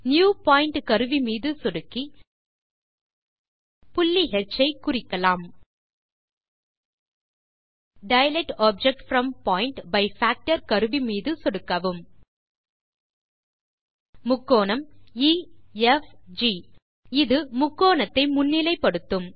new point கருவி மீது சொடுக்கி புள்ளி ஹ் ஐ குறிக்கலாம் dilate object from point by factor கருவி மீது சொடுக்கவும் முக்கோணம் எஃப்ஜி இது முக்கோணத்தை முன்னிலைப்படுத்தும்